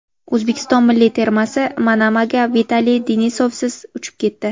O‘zbekiston milliy termasi Manamaga Vitaliy Denisovsiz uchib ketdi.